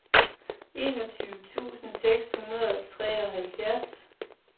enogtyve tusind seks hundrede og treoghalvfjerds